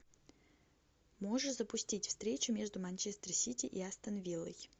можешь запустить встречу между манчестер сити и астон виллой